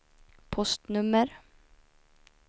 postnummer